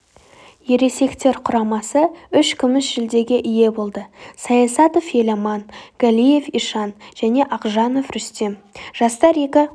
ересектер құрамасы үш күміс жүлдеге ие болды саясатов еламан галиев ишан және ақжанов рүстем жастар екі